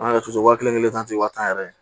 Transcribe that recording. An yɛrɛ t'a to wa kelen kelen tan tɛ wa tan yɛrɛ